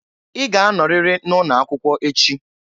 I ga-anoriri na ụnọ akwụkwọ echị!